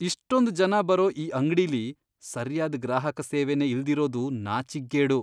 ಇಷ್ಟೊಂದ್ ಜನ ಬರೋ ಈ ಅಂಗ್ಡಿಲಿ ಸರ್ಯಾದ್ ಗ್ರಾಹಕ ಸೇವೆನೇ ಇಲ್ದಿರೋದು ನಾಚಿಕ್ಗೇಡು.